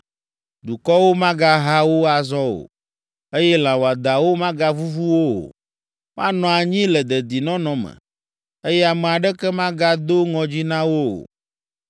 Dukɔwo magaha wo azɔ o, eye lã wɔadãwo magavuvu wo o. Woanɔ anyi le dedinɔnɔ me, eye ame aɖeke magado ŋɔdzi na wo o.